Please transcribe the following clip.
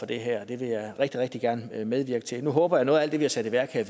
det her og det vil jeg rigtig rigtig gerne medvirke til nu håber jeg at noget af alt det vi har sat i værk her